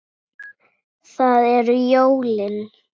Það eru jólin.